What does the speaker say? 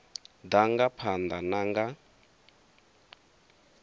ḓa nga phanḓa na nga